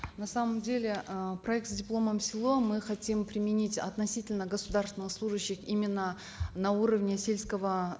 на самом деле э проект с дипломом в село мы хотим применить относительно государственных служащих именно на уровне сельского